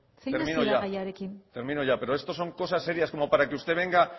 termino ya termino ya pero esto son cosas serias como para que usted venga